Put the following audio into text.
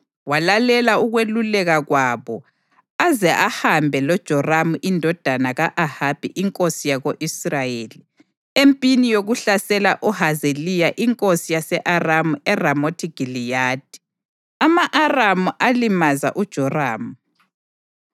Walalela ukweluleka kwabo aze ahambe loJoramu indodana ka-Ahabi inkosi yako-Israyeli empini yokuhlasela uHazayeli inkosi yase-Aramu eRamothi Giliyadi. Ama-Aramu alimaza uJoramu;